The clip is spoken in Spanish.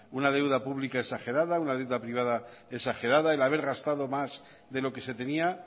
una deuda pública exagerada una deuda privada exagerada el haber gastado más de lo que se tenía